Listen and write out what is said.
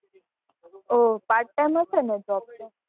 ઓહ Part time હશે ને Job તો?